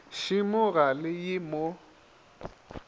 šemo ga le ye mo